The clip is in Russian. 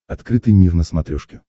открытый мир на смотрешке